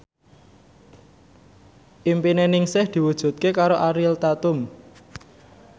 impine Ningsih diwujudke karo Ariel Tatum